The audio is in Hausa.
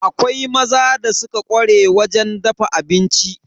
Akwai maza da suka ƙware wajen dafa abinci.